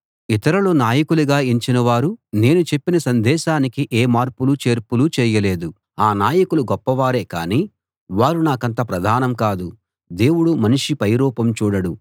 ఇతరులు నాయకులుగా ఎంచిన వారు నేను చెప్పిన సందేశానికి ఏ మార్పులు చేర్పులు చేయలేదు ఆ నాయకులు గొప్పవారే కానీ వారు నాకంత ప్రధానం కాదు దేవుడు మనిషి పైరూపం చూడడు